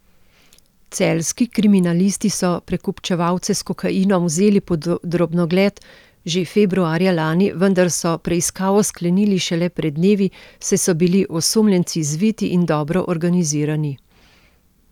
Celjski kriminalisti so prekupčevalce s kokainom vzeli pod drobnogled že februarja lani, vendar so preiskavo sklenili šele pred dnevi, saj so bili osumljenci zviti in dobro organizirani.